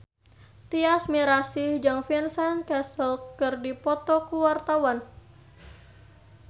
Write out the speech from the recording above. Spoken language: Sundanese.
Tyas Mirasih jeung Vincent Cassel keur dipoto ku wartawan